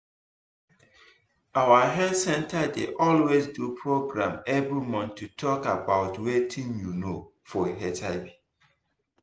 our health center dey always do program every month to talk about watin you know for hiv